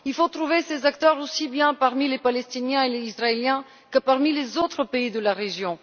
Il faut trouver ces acteurs aussi bien parmi les Palestiniens et les Israéliens que parmi les autres pays de la région.